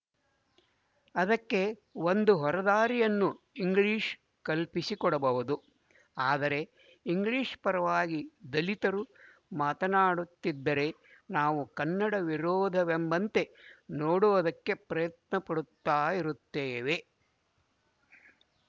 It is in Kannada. ಅದಕ್ಕೆ ಒಂದು ಹೊರದಾರಿಯನ್ನು ಇಂಗ್ಲಿಶ ಕಲ್ಪಿಸಿಕೊಡಬಹುದು ಆದರೆ ಇಂಗ್ಲಿಶ ಪರವಾಗಿ ದಲಿತರು ಮಾತನಾಡುತ್ತಿದ್ದರೆ ನಾವು ಕನ್ನಡ ವಿರೋಧವೆಂಬಂತೆ ನೋಡುವುದಕ್ಕೆ ಪ್ರಯತ್ನ ಪಡುತ್ತಾ ಇರುತ್ತೇವೆ